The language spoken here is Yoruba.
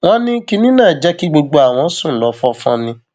wọn ní kinní náà jẹ kí gbogbo àwọn sùn lọ fọnfọn ni